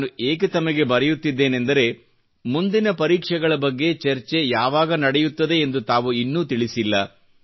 ನಾನು ಏಕೆ ತಮಗೆ ಬರೆಯುತ್ತಿದ್ದೇನೆಂದರೆ ಮುಂದಿನ ಪರೀಕ್ಷೆಗಳ ಬಗ್ಗೆ ಚರ್ಚೆ ಯಾವಾಗ ನಡೆಯುತ್ತದೆ ಎಂದು ತಾವು ಇನ್ನೂ ತಿಳಿಸಿಲ್ಲ